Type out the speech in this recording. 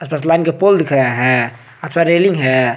के पोल दिख रहा है रेलिंग है।